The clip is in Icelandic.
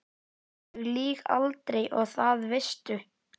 Ég lýg aldrei og það veistu.